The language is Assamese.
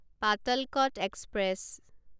পাতালকত এক্সপ্ৰেছ